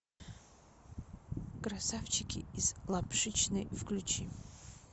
красавчики из лапшичной включи